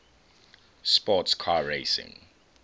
sports car racing